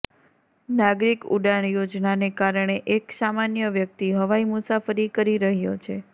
નાગરીક ઉડાણ યોજનાને કારણે એક સામાન્ય વ્યક્તિ હવાઈ મુસાફરી કરી રહ્યો છે